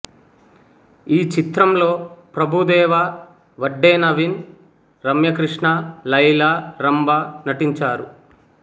ఈ చిత్రంలో ప్రభుదేవా వడ్డే నవీన్ రమ్య కృష్ణ లైలా రంభ నటించారు